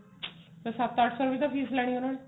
ਫੇਰ ਸੱਤ ਅੱਠ ਸੋ ਤਾਵੀ ਫੀਸ ਲੈਣੀ ਐ ਉਹਨਾਂ ਨੇ